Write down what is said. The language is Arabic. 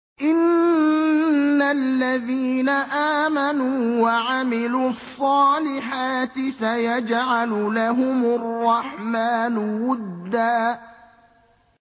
إِنَّ الَّذِينَ آمَنُوا وَعَمِلُوا الصَّالِحَاتِ سَيَجْعَلُ لَهُمُ الرَّحْمَٰنُ وُدًّا